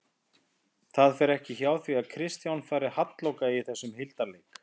Það fer ekki hjá því að Kristján fari halloka í þessum hildarleik